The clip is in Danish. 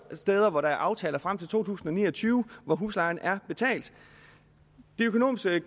steder hvor der er aftaler frem til to tusind og ni og tyve og huslejen er betalt de økonomiske